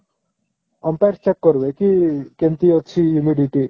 umpire check କରିବେ କି କେମିତି ଅଛି humidity